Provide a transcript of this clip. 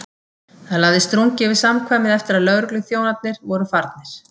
Það lagðist drungi yfir samkvæmið eftir að lögregluþjón- arnir voru farnir.